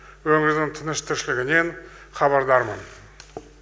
өңірдің тыныс тіршілігінен хабардармын